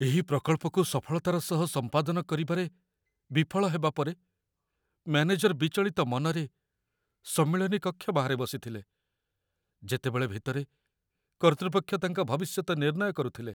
ଏକ ପ୍ରକଳ୍ପକୁ ସଫଳତାର ସହ ସମ୍ପାଦନ କରିବାରେ ବିଫଳ ହେବା ପରେ, ମ୍ୟାନେଜର ବିଚଳିତ ମନରେ ସମ୍ମିଳନୀ କକ୍ଷ ବାହାରେ ବସିଥିଲେ, ଯେତେବେଳେ ଭିତରେ କର୍ତ୍ତୃପକ୍ଷ ତାଙ୍କ ଭବିଷ୍ୟତ ନିର୍ଣ୍ଣୟ କରୁଥିଲେ।